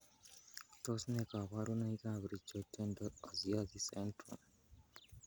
Tos nee koborunoikab richo dento osseous syndrome?